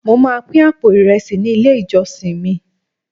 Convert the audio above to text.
mo ma pin apo iresi ni ile ijọsin mi